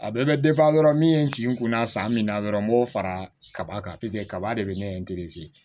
A bɛɛ bɛ dɔrɔn min ye n ci n kun na san min na dɔrɔn n b'o fara kaba kan kaba de bɛ ne